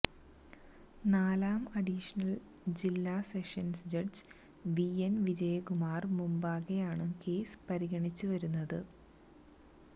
നാലാം അഡീഷണല് ജില്ല sessions judge V N Vijayakumar മുമ്പാകെയാണ് കേസ് പരിഗണിച്ചുവരുന്നത്